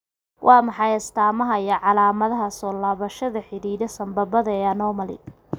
Waa maxay astamaha iyo calamadaha soo laabashada xididdada sambabada ee anomaly?